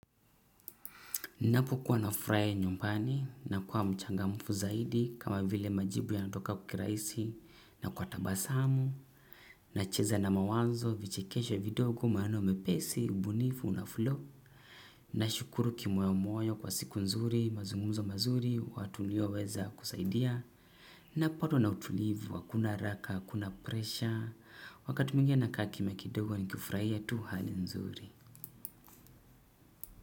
Napokuwa nafurahia nyumbani nakuwa mchangamfu zaidi, kama vile majibu yananitoka kirahisi, na kwa tabasamu, nacheza na mawazo, vichekesho vidogo maneno mepesi, ubunifu unaflow. Nashukuru kimoyomoyo kwa siku nzuri, mazungumzo mazuri, watu nilioweza kusaidia. Napatwa na utulivu, hakuna haraka, hakuna presha, wakati mwingine nakaa kimya kidogo nikifurahia tu hali nzuri.